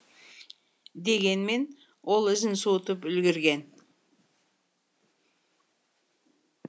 дегенмен ол ізін суытып үлгерген